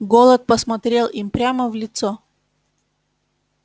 голод посмотрел им прямо в лицо